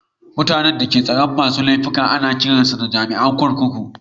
Mutani da ke kulawa da tsaron masun laifuka ana kiran su jami'in kurkuku.